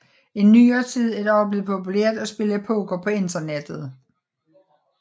I nyere tid er det også blevet populært at spille poker på internettet